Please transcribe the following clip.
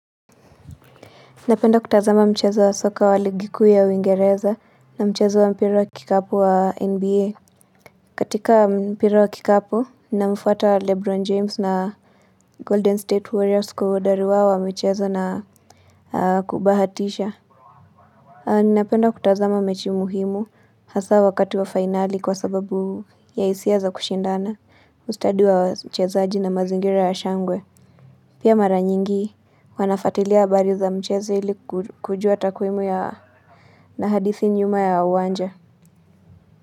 Napenda kutazama mchezo wa soka wa ligi kuu ya uingereza na mchezo wa mpira wa kikapu wa nba katika mpira wa kikapu namfuata lebron james na golden state warriors kwa uhodari wao wa michezo na kubahatisha Napenda kutazama mechi muhimu hasa wakati wa finali kwa sababu ya hisia za kushindana ustadi wa wachezaji na mazingira ya shangwe Pia mara nyingi huwa nafuatilia habari za mchezo ili kujua takwimu ya na hadithi nyuma ya uwanja.